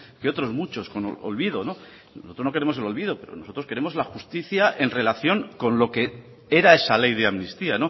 que otros muchos con olvido nosotros no queremos el olvido pero nosotros queremos la justicia en relación con lo que era esa ley de amnistía